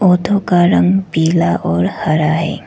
Auto का रंग पीला और हरा है।